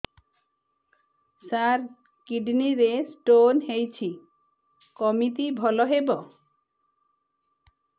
ସାର kidney ରେ stone ହେଇଛି କମିତି ଭଲ ହେବ